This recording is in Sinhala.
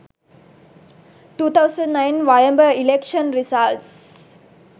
2009 wayamba election results